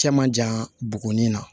Cɛ man jan bugunin na